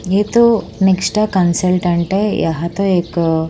ये तो Nexta consultant है यहां तो एक--